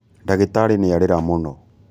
Ndagītarī nīarīra mūno